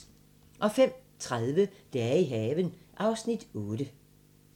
05:30: Dage i haven (Afs. 8)